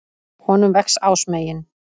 Honum vex ásmegin.